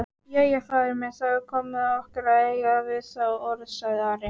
Jæja, faðir minn, þá er komið að okkur að eiga við þá orð, sagði Ari.